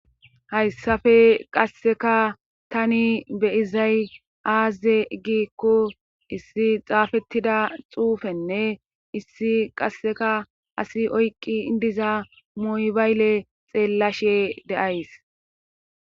hayssafe qasseka tani be izay aze gikko issi xaafettida xuufenne issi qasseka asi oyqqi idiza muybayle xeellashe deays